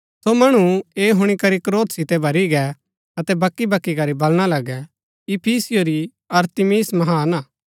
सो मणु ऐह हुणी करी क्रोध सितै भरी गै अतै बकी बकी करी बलणा लगै इफिसियों री अरतिमिस महान हा